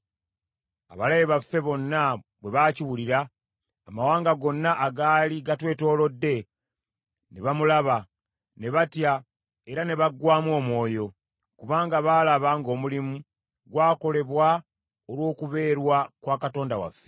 Abalabe baffe bonna bwe baakiwulira, amawanga gonna agaali gatwetoolodde ne bamulaba, ne batya era ne baggwaamu omwoyo, kubanga baalaba ng’omulimu gwakolebwa olw’okubeerwa kwa Katonda waffe.